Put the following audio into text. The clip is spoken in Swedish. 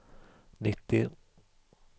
nittio